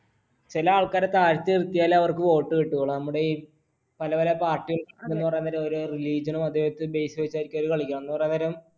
ചില ആൾക്കാരെ താഴ്ത്തി നിർത്തിയാലെ അവർക്ക് vote കിട്ടുകയുള്ളൂ. നമ്മുടെ ഈ പല പല party എന്ന് പറയാൻ നേരം ഒരു religion നോ അതുപോലത്തെ base വച്ചായിരിക്കും അവര് കളിക്കുന്നത്. എന്നു പറയാൻ നേരം